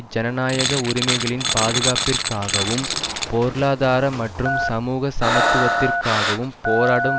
ஜனாநாயக உரிமைகளின் பாதுகாப்பிற்காகவும் பொருளாதார மற்றும் சமூக சமத்துவத்திற்காகவும் போராடும்